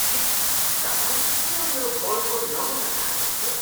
छिः। तपाईँ किन मेरो मलको नमुना चाहनुहुन्छ?